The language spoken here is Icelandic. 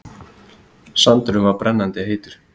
Sandurinn var brennandi heitur.